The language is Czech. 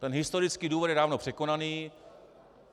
Ten historický důvod je dávno překonaný.